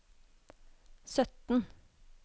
sytten